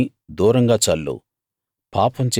ఆ నిప్పుని దూరంగా చల్లు